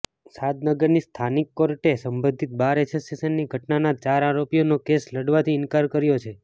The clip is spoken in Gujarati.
શાદનગરની સ્થાનિક કોર્ટે સંબધિત બાર એસોસિએશનની ઘટનાના ચાર આરોપીઓનો કેસ લડવાથી ઈન્કાર કર્યો છે